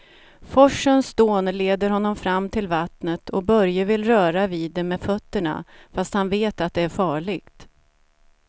Forsens dån leder honom fram till vattnet och Börje vill röra vid det med fötterna, fast han vet att det är farligt.